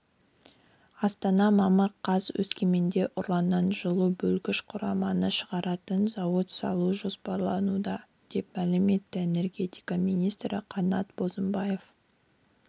астана мамыр қаз өскеменде ураннан жылу бөлгіш құраманы шығаратын зауыт салу жоспарлануда деп мәлім етті энергетика министрі қанат бозымбаев